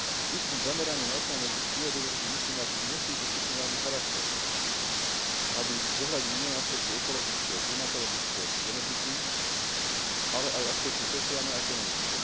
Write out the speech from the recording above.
Výskum zameraný na ochranu biodiverzity musí mať multidisciplinárny charakter, aby zohľadnil nielen aspekty ekologické, klimatologické či genetiky, ale aj aspekty sociálne a ekonomické.